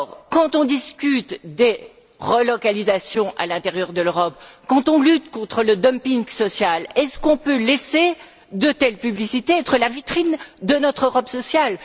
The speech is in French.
Quand on discute des relocalisations à l'intérieur de l'Europe, quand on lutte contre le dumping social, est ce que l'on peut laisser de telles publicités être la vitrine de notre Europe sociale?